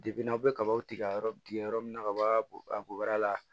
n'aw bɛ kabaw tigɛ yɔrɔ tigɛ yɔrɔ min na ka bɔ a goyara